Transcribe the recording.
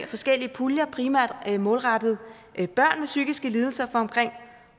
forskellige puljer primært målrettet børn med psykiske lidelser på omkring